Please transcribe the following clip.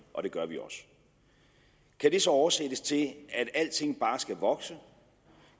og det gør vi også kan det så oversættes til at alting bare skal vokse